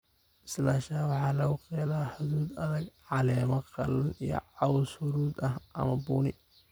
"Bislaanshaha waxaa lagu qeexaa hadhuudh adag, caleemo qallalan iyo caws huruud ah ama bunni."